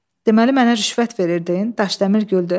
Deməli mənə rüşvət verirdin, Daşdəmir güldü.